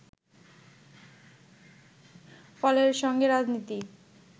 ফলে এর সঙ্গে রাজনীতি